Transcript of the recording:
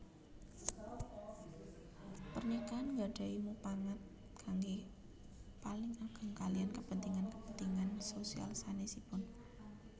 Pernikahan gadahi mupangat kangge paling ageng kaliyan kepentingan kepentingan sosial sanesipun